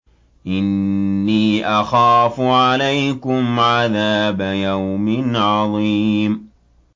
إِنِّي أَخَافُ عَلَيْكُمْ عَذَابَ يَوْمٍ عَظِيمٍ